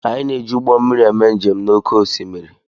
Anyị na-eji ụgbọ mmiri eme njem n'oké osimiri